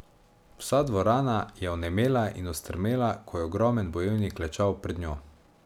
Vsa dvorana je onemela in ostrmela, ko je ogromen bojevnik klečal pred njo.